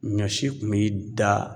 Ɲɔ si kun b'i da